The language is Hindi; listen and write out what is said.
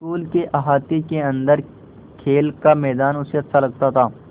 स्कूल के अहाते के अन्दर खेल का मैदान उसे अच्छा लगता था